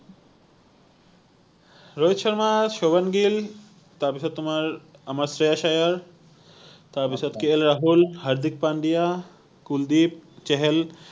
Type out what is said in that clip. ৰোহিত শৰ্মা, সুভম গিল তাৰপাছত তোমাৰ আমাৰ শ্ৰেয়াস আয়াৰ তাৰপাছত কে এল ৰাহুল, হাৰ্দিক পান্ডিয়া, কুলদিপ, ছেহেল